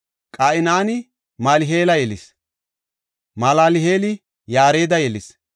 Qaynani Malal7eela yelis; Malal7eeli Yaareda yelis;